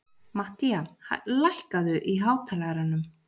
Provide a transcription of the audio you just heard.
Matthía, lækkaðu í hátalaranum.